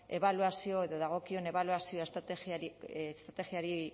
ebaluazio edo dagokion ebaluazioa estrategiari